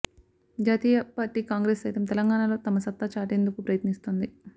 జాతీయ పార్టీ కాంగ్రెస్ సైతం తెలంగాణలో తన సత్తా చాటేందుకు ప్రయత్నిస్తోంది